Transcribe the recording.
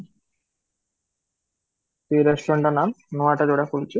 ସେଇ restaurant ର ନାମ ନୂଆଟା ଯୋଉଟା ଖୋଲିଛି